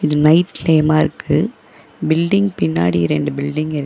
இது நைட் டைமாருக்கு பில்டிங் பின்னாடி இரண்டு பில்டிங் இரு--